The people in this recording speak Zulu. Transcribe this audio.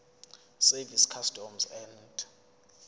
service customs and